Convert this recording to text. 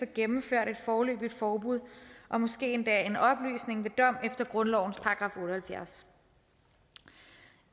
gennemført et foreløbigt forbud og måske endda en opløsning ved dom efter grundlovens § otte og halvfjerds